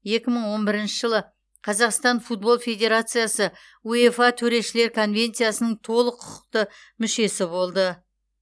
екі мың он бірінші жылы қазақстан футбол федерациясы уефа төрешілер конвенциясының толық құқықты мүшесі болды